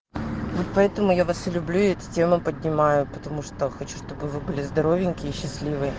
поэтому я вас люблю эту тему поднимаю потому что хочу чтобы вы были здоровенькие счастливые